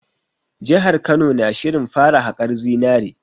Jihar Kano na shirin fara haƙar zinare